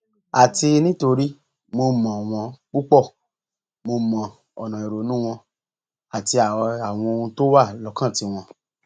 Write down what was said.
àti nítorí mo mọ wọn púpọ mo mọ ọnà ìrònú wọn àti àwọn ohun tó wà lọkàn tiwọn